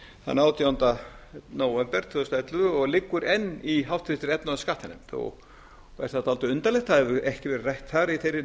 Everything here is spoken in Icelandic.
þann átjánda nóvember tvö þúsund og ellefu og liggur enn í háttvirtri efnahags og skattanefnd er það dálítið undarlegt það hefur ekki verið rætt þar í þeirri